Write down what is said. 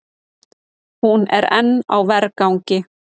Hún er enn á vergangi.